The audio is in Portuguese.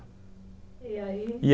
E aí?